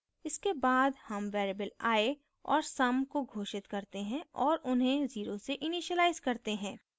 इसके बाद sum variables i और sum को घोषित करते हैं और उन्हें 0 से इनीशिलाइज करते हैं